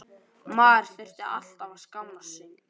Maður þurfti alltaf að skammast sín.